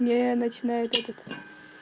мне начинает этот